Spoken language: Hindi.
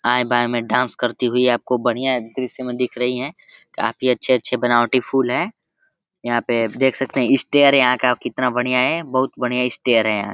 आएँ-बाएँ में डांस करती हुई आपको बढ़िया दृश्य में दिख रही हैं। काफी अच्छे-अच्छे बनावटी फूल हैं। यहाँ पे देख सकते हैं स्टेयर यहाँ का कितना बढ़िया है। बहोत बढ़िया स्टेयर यहाँ।